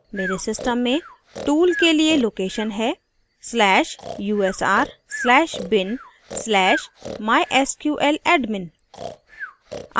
मेरे system में tool के लिए location है/usr/bin/mysqladmin